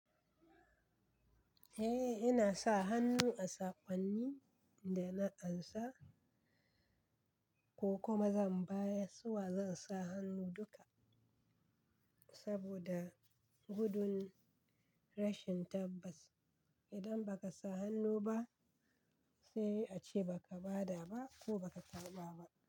Eh, ina sa hannu a sakonni da na ansa ko kuma zan bayar suwa zan sa hannu duka saboda gudun rashin tabbas. Idan ba ka sa hannu ba sai a ce ba ka ba da ba ko ba ka karɓa ba.